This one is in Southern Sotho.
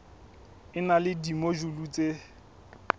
e na le dimojule tse